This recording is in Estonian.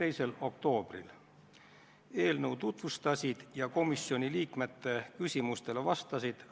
Minu protseduuriline küsimus on ajendatud sellest, kuidas te just eelmisele küsimusele vastasite.